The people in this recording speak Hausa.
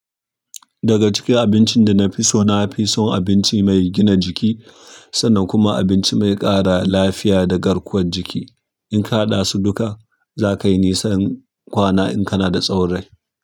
Daga cikin abincin da na fi so, na fi son abinci mai gina jiki sannan kuma abinci mai ƙara lafiya da garkuwar jiki. In ka haɗa su duka, za kai nisan kwana in ka na da tsawon rai.